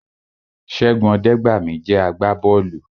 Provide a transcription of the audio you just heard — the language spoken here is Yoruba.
Ṣẹ́gun Ọdẹgbami jẹ́ àgbà bọ́ọ̀lù